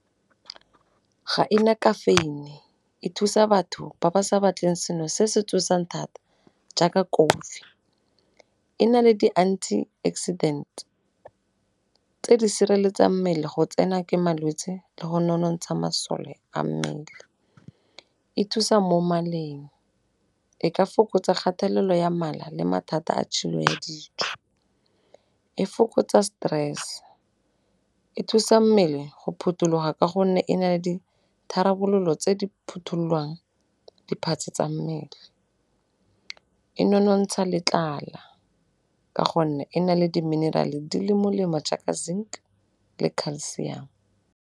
Ga e na kafeine, e thusa batho ba ba sa batleng seno se se tsosang thata jaaka kofi. E na le di-anti accident tse di sireletsang mmele go tsena ke malwetse le go nonontsha masole a mmele. E thusa mo maleng e ka fokotsa kgatelelo ya mala le mathata a tshilo ya dijo. E fokotsa stress, e thusa mmele go phuthuloga ka gonne e na le ditharabololo tse di phothulolang di-parts tsa mmele. E nonontsha le tlala ka gonne e na le di-mineral-e di le molemo jaaka zinc le calcium.